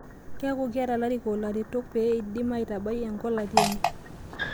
Keeku keeta larikok laretok pee eidim aitabai a nkolati enye